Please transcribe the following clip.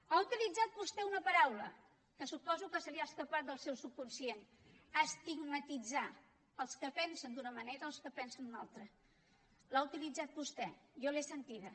ha utilitzat vostè una paraula que suposo que se li ha escapat del seu subconscient estigmatitzar els que pensen d’una manera els que pensen d’una altra l’ha utilitzat vostè jo l’he sentida